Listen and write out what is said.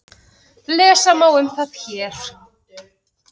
Lesa má um það hér.